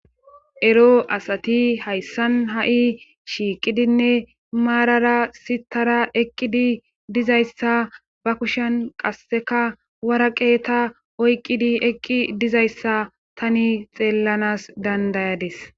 Ero asati hayssan ha'i shiiqidinne marara siththara dizayssa ba kushiyan qassekka waraqeta oyqidi eqqi dizayayssa taani xeelanas danda'adis.